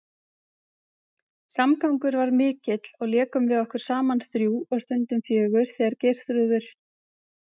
Samgangur var mikill og lékum við okkur saman þrjú og stundum fjögur þegar Geirþrúður